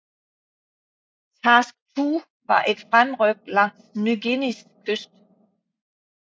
Task Two var et fremryk langs Ny Guineas kyst